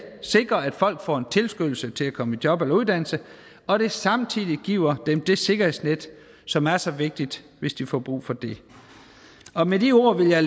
sikre at folk får en tilskyndelse til at komme i job eller uddannelse og at det samtidig giver dem det sikkerhedsnet som er så vigtigt hvis de får brug for det og med de ord vil jeg